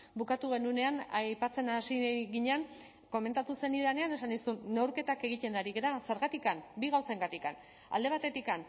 bukatu genuenean aipatzen hasi ginen komentatu zenidanean esan nizun neurketak egiten ari gara zergatik bi gauzengatik alde batetik